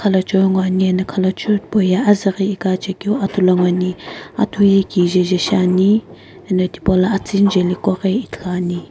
khalachiu ngoani eno khalachiu tipauye azüghi iqachekeu atu lo ngoani atu ye kijeje shiani eno tipaula atsuni jeliqoghi ithuluani.